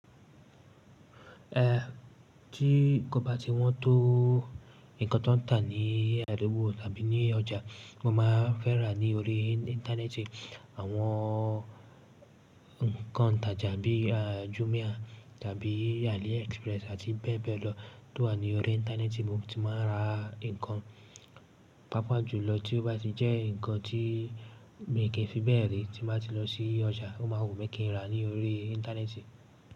Eh tí kò bá ti wọ́n tó nkan tó ń tà ní àdugbó tàbí ní ọjà, mọ máa n fẹ́ rà ní orí Íńtánẹ́ẹ̀tì. Àwọn ǹkan itàjà bí i Jumia tàbí Aliexpress àti bẹ́ẹ̀ bẹ́ẹ̀ lọ tó wà ní orí Íńtánẹ́ẹ̀tì, mo ti máa ń ra ǹkan, pàápàá jùlọ tí ó bá ti jẹ́ ǹkan tí mi kì n fi bẹ́ẹ̀ rí tí n bá ti lọ sí ọjà, ọ máa wùmí kí n ràá ní orí Íńtánẹ́ẹ̀tì.